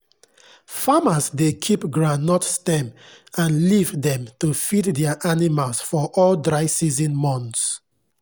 farmers dey keep groundnut stem and leaf dem to feed their animals for all dry season months.